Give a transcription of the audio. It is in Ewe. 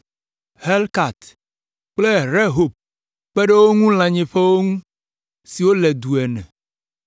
Helkat kple Rehob, kpe ɖe wo ŋu lãnyiƒewo ŋu siwo le du ene.